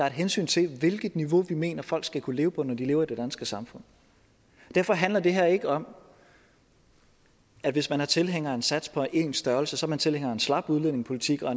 et hensyn til hvilket niveau vi mener folk skal kunne leve på når de lever i det danske samfund derfor handler det her ikke om at hvis man er tilhænger af en sats på én størrelse er man tilhænger af en slap udlændingepolitik og